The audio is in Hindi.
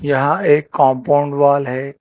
यह एक कंपाउंड वॉल है।